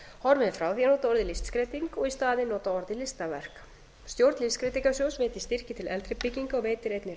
horfið er frá því að nota orðið listskreyting og í staðinn notað orðið listaverk stjórn listskreytingasjóðs veitir styrki til eldri bygginga og veitir einnig